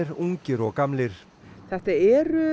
ungir og gamlir þetta eru